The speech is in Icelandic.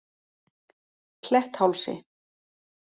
Kletthálsi